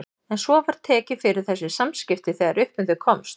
En svo var tekið fyrir þessi samskipti þegar upp um þau komst.